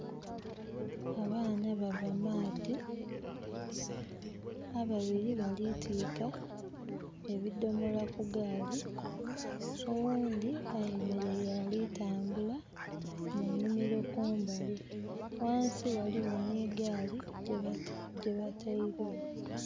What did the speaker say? Abaana bava maadhi, ababiri baali tiika ebidomola ku gaali, owundi ayemereire ali tambula mu nimiro kumbali, wansi waliwo ni gaali gye batairewo